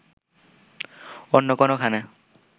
অন্য কোনোখানে